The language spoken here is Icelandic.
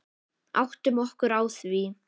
Áttum okkur á því.